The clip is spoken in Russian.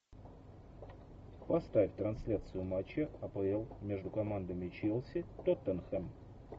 поставь трансляцию матча апл между командами челси тоттенхэм